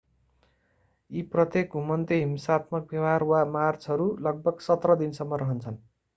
यी प्रत्येक घुमन्ते हिंसात्मक व्यवहार वा मार्चहरू लगभग 17 दिनसम्म रहन्छन्